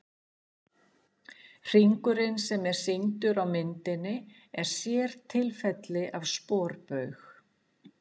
Hringurinn sem er sýndur á myndinni er sértilfelli af sporbaug.